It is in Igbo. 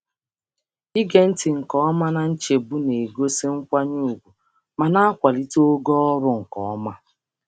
Ige ntị nke ọma na nchegbu na-egosi um nkwanye ùgwù ma na-emeziwanye ịdị mma ozi n’ụzọ dị um irè.